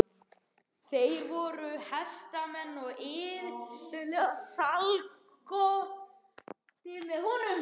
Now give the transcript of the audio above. Þeir voru hestamenn og iðulega í slagtogi með honum.